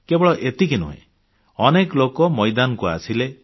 କେବଳ ଏତିକି ନୁହେଁ ଅନେକ ଲୋକ ମଇଦାନକୁ ଆସିଲେ